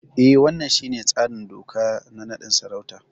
E, wannan shine tsarin doka na naɗin sarauta.